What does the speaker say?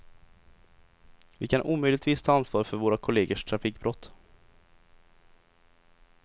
Vi kan omöjligtvis ta ansvar för våra kollegers trafikbrott.